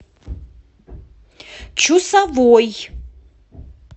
чусовой